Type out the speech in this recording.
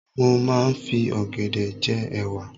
Mo máa ń fi ọ̀gẹ̀dẹ̀ je'wà.